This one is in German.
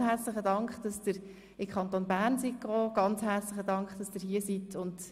Ganz herzlichen Dank, dass Sie in den Kanton Bern gereist sind und dass Sie hier sind.